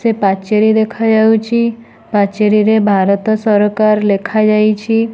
ସେ ପାଚେରୀ ଦେଖାଯାଉଚି ପାଚେରୀରେ ଭାରତ ସରକାର ଲେଖାଯାଇଛି।